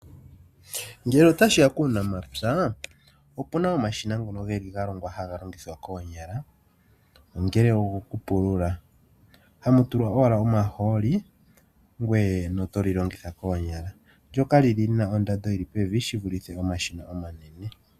Ngele otashiya kuunamapya opuna omashina ngono geli ga longwa haga longithwa koonyala. Ongele ogo kupulula hamu tulwa owala omahooli ngweye noto li longitha koonyala. Ndoka lina ondando yili pevi shivulithe omashina ngoka omanene.